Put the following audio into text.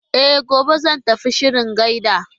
E, gobe zan tafi ciron gyaɗa.